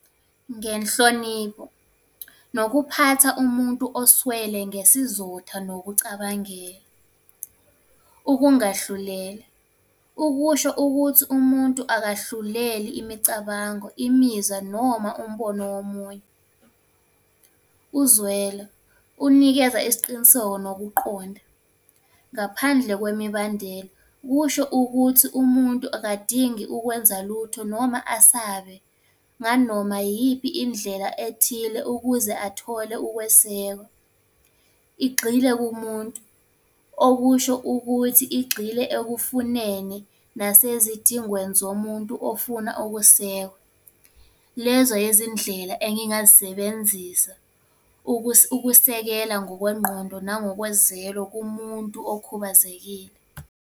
Ngenhlonipho, nokuphatha umuntu oswele ngesizotha, nokucabangela. Ukungahlulela, ukusho ukuthi umuntu akahluleli imicabango, imizwa, noma umbono womunye. Uzwelo, unikeza isiqiniseko nokuqonda, ngaphandle kwemibandela. Kusho ukuthi umuntu akadingi ukwenza lutho noma asabe nganoma iyiphi indlela ethile ukuze athole ukwesekwa. Igxile kumuntu, okusho ukuthi igxile ekufuneni, nasezidingweni zomuntu ofuna ukusekwa. Lezo yezindlela engingazisebenzisa ukusekela ngokwengqondo nangokwezelo kumuntu okhubazekile.